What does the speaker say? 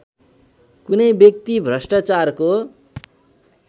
कुनै व्यक्ति भ्रष्टाचारको